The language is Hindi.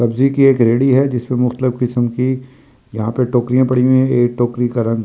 यहाँ टोकरिया पड़ी हुई है एक टोकरी का रंग सुरक है जो खा।